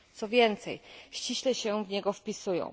Co więcej, ściśle się w niego wpisują.